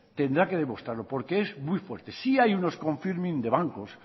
tendrá que demostrarlo porque es muy fuerte sí hay unos confirming de bancos